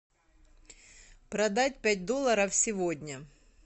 продать пять долларов сегодня